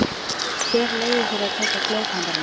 Hver leyfði þér að taka klaufhamarinn?